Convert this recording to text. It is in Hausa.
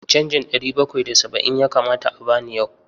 Canjin ɗari bakwai da saba'in ya kamata a ba ni yau.